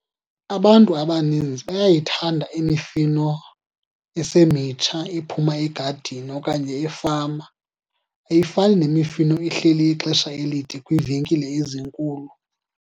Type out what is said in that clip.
Abantu abaninzi bayayithanda imifino esemitsha ephuma egadini okanye efama. Ayifani nemifino ehleli ixesha elide kwiivenkile ezinkulu.